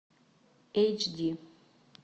эйч ди